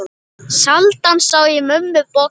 Sjaldan sá ég mömmu bogna.